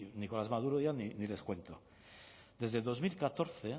nicolás maduro ya ni les cuento desde el dos mil catorce